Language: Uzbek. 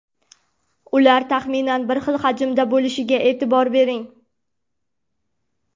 Ular taxminan bir xil hajmda bo‘lishiga e’tibor bering.